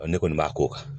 Ɔ ne kɔni b'a k'o kan